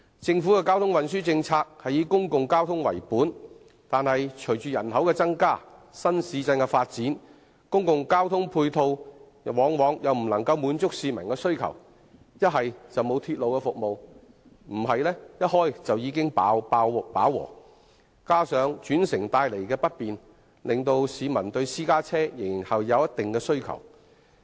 政府的交通運輸政策以公共交通為本，但隨着人口增加和新市鎮的發展，公共交通配套往往無法滿足市民的需求，不是沒有鐵路服務，便是鐵路在通車時便已飽和，再加上轉乘帶來不便，令市民對私家車仍有一定的需求。